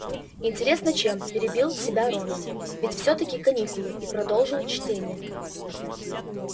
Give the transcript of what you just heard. интересно чем перебил себя рон ведь всё-таки каникулы и продолжил чтение